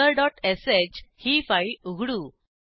हेरे dot श ही file उघडू